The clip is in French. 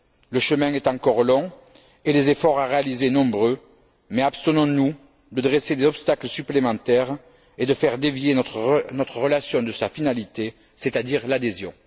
Le chemin est encore long et les efforts à réaliser nombreux, mais abstenons nous de dresser des obstacles supplémentaires et de faire dévier notre relation de sa finalité, c'est à dire l'adhésion.